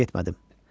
Mən getmədim.